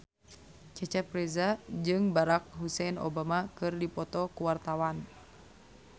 Cecep Reza jeung Barack Hussein Obama keur dipoto ku wartawan